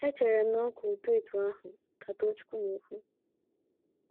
Echere m na ọ ka ụtọ etu ahụ ,ka Tochukwu na - ekwu.